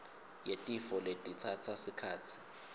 yetifo letitsatsa sikhatsi